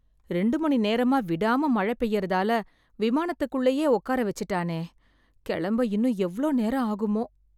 ரெண்டு மணி நேரமா விடாம மழை பெய்யறதால, விமானத்துக்குள்ளயே உக்கார வெச்சிட்டானே... கெளம்ப இன்னும் எவ்ளோ நேரம் ஆகுமோ?